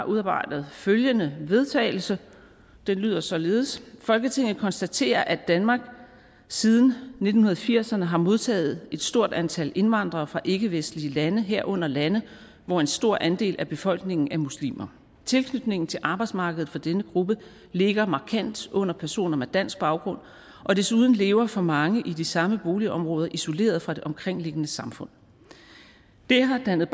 udarbejdet følgende forslag vedtagelse der lyder således folketinget konstaterer at danmark siden nitten firserne har modtaget et stort antal indvandrere fra ikkevestlige lande herunder lande hvor en stor andel af befolkningen er muslimer tilknytningen til arbejdsmarkedet for denne gruppe ligger markant under personer med dansk baggrund og desuden lever for mange i de samme boligområder isoleret fra det omkringliggende samfund det har dannet